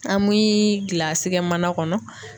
An mii gilasi kɛ mana kɔnɔ